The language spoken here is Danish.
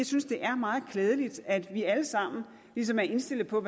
synes det er meget klædeligt at vi alle sammen ligesom er indstillet på at